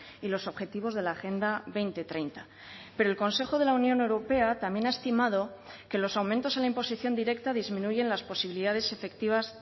y los objetivos de la agenda dos mil treinta pero el consejo de la unión europea también ha estimado que los aumentos en la imposición directa disminuyen las posibilidades efectivas